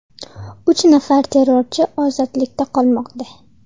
Uch nafar terrorchi ozodlikda qolmoqda.